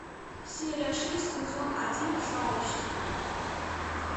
серия шесть сезон один сообщество